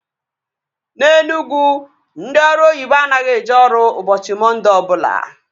Na Enugwu ndị ọrụ oyibo anaghị eje ọrụ ụbọchị Mọnde ọbụla